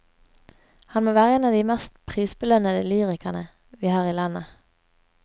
Han må være en av de mest prisbelønnede lyrikerne vi har i landet.